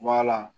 Wala